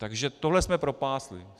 Takže tohle jsme propásli.